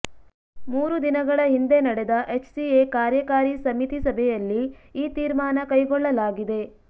ಮೂರು ದಿನಗಳ ಹಿಂದೆ ನಡೆದ ಎಚ್ಸಿಎ ಕಾರ್ಯಕಾರಿ ಸಮಿತಿ ಸಭೆಯಲ್ಲಿ ಈ ತೀರ್ಮಾನ ಕೈಗೊಳ್ಳಲಾಗಿದೆ